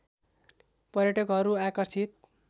पर्यटकहरू आकर्षित